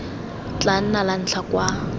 tla nna la ntlha kwa